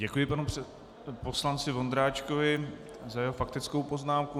Děkuji panu poslanci Vondráčkovi za jeho faktickou poznámku.